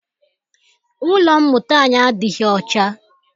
Ụlọ mmụta anyi adịghị ọcha.